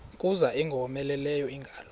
kuza ingowomeleleyo ingalo